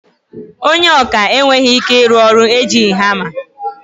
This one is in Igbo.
Ònye ọkà enweghị ike ịrụ ọrụ ejighi hama.